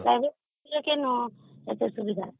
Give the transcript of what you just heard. private ସ୍କୁଲମାନଙ୍କରେ କାଇଁ ସେତିକି ସୁବିଧା